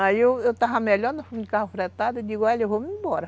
Aí eu eu estava melhor, fomos de carro fretado e digo, olha, eu vou-me embora.